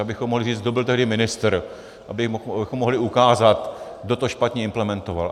Abychom mohli říct, kdo byl tehdy ministr, abychom mohli ukázat, kdo to špatně implementoval.